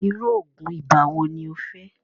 irú oògùn ibà wo ní o fẹ́?